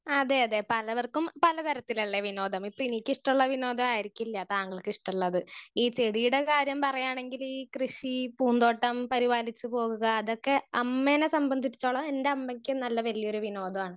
Speaker 1 അതെ അതെ പലവർക്കും പല തരത്തിലല്ലെ വിനോദം ഇപ്പൊ എനിക്കിഷ്ട്ടള്ള വിനോദായിരിക്കില്ല താങ്കള്ക്ക് ഇഷ്ട്ടള്ളത് ഈ ചെടീടെ കാര്യം പറയാണെങ്കിൽ കൃഷി പൂന്തോട്ടം പരിപാലിച്ച് പോവുക അതൊക്കെ അമ്മേനെ സംബദ്ധിച്ചടതോളം എൻ്റെ അമ്മക്ക് നല്ല വലിയൊരു വിനോദാണ്.